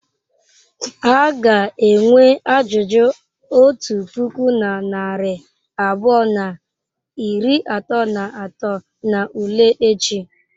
A ga-enwe ajụjụ otu puku na narị abụọ na iri atọ na atọ n'ule echi.